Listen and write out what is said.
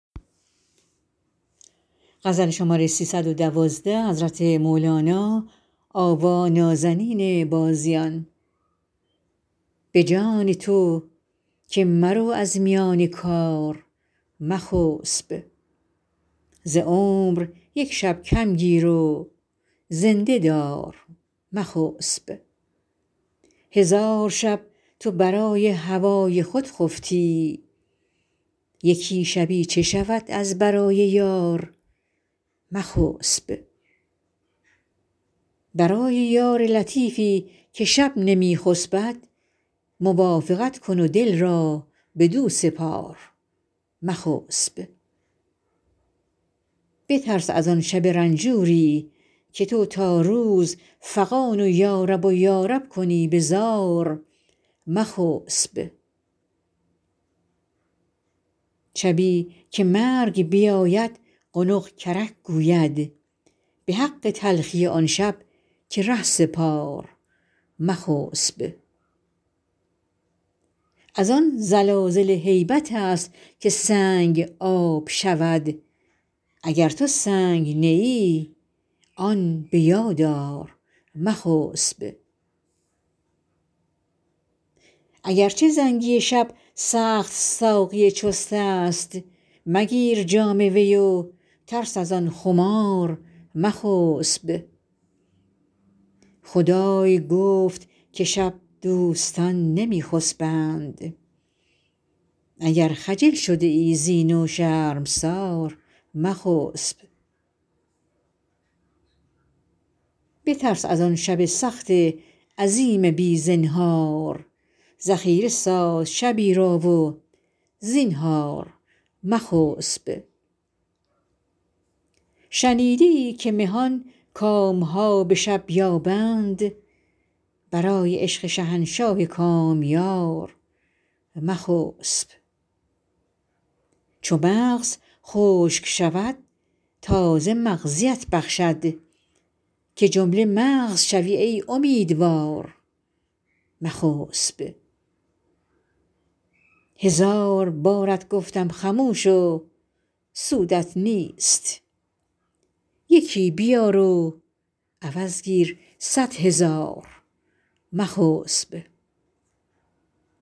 به جان تو که مرو از میان کار مخسب ز عمر یک شب کم گیر و زنده دار مخسب هزار شب تو برای هوای خود خفتی یکی شبی چه شود از برای یار مخسب برای یار لطیفی که شب نمی خسبد موافقت کن و دل را بدو سپار مخسب بترس از آن شب رنجوریی که تو تا روز فغان و یارب و یارب کنی به زار مخسب شبی که مرگ بیاید قنق کرک گوید به حق تلخی آن شب که ره سپار مخسب از آن زلازل هیبت که سنگ آب شود اگر تو سنگ نه ای آن به یاد آر مخسب اگر چه زنگی شب سخت ساقی چستست مگیر جام وی و ترس از آن خمار مخسب خدای گفت که شب دوستان نمی خسبند اگر خجل شده ای زین و شرمسار مخسب بترس از آن شب سخت عظیم بی زنهار ذخیره ساز شبی را و زینهار مخسب شنیده ای که مهان کام ها به شب یابند برای عشق شهنشاه کامیار مخسب چو مغز خشک شود تازه مغزیت بخشد که جمله مغز شوی ای امیدوار مخسب هزار بارت گفتم خموش و سودت نیست یکی بیار و عوض گیر صد هزار مخسب